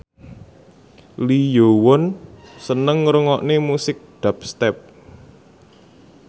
Lee Yo Won seneng ngrungokne musik dubstep